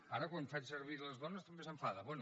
ara quan faig servir les dones també s’enfaden